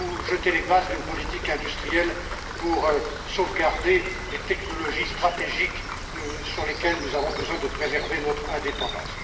Ou jeter les bases d'une politique industrielle pour sauvegarder les technologies stratégiques, sur lesquelles nous avons besoin de préserver notre indépendance.